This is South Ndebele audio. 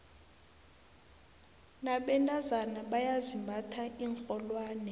nabentazana bayazimbatha iinrholwane